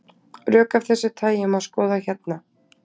Rök af þessu tagi má skoða hérna.